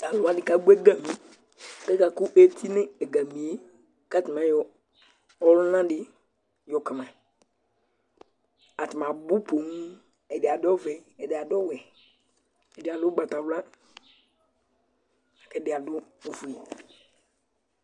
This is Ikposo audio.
talu wʋani ka gbɔ egami, ku aka ku eti nu egamie, ku ata ni ayɔ ɔluna di yɔ kama ata ni abu poooo, ɛdi adu ɔvɛ, ɛdi adu ɔwɛ, ɛdi adu ugbata wla, ku ɛdi adu ofue